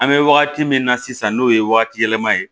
An bɛ wagati min na sisan n'o ye wagati yɛlɛma ye